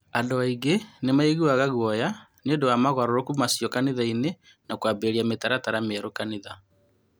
Andũ aingĩ nĩ maiguaga guoya nĩũndũ wa moogarũrũku macio kanitha-inĩ na kũambĩrĩria mĩtaratara mĩerũ kanitha.